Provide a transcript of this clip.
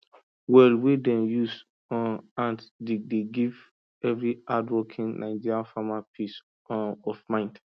well wey dem use um hand dig dey give every hardworking nigerian farmer peace um of mind